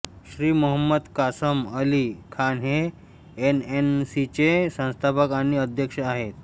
श्री मोहम्मद कासम अली खान हे एएनसीचे संस्थापक आणि अध्यक्ष आहेत